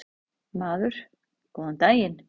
Maður: Góðan daginn.